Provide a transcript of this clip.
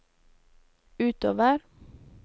utover